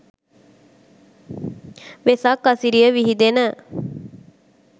වෙසක් අසිරිය විහිදෙන